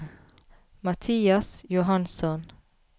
Mathias Johansson